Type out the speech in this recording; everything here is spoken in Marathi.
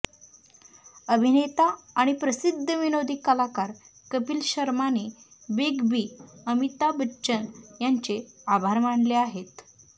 अभिनेता आणि प्रसिद्ध विनोदी कलाकार कपिल शर्माने बीग बी अमिताभ बच्चन यांचे आभार मानले आहेत